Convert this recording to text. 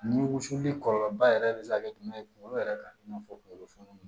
Ni wusuli kɔlɔlɔ ba yɛrɛ bɛ se ka kɛ jumɛn ye kungolo yɛrɛ ka n'a fɔ kunkolofɛnw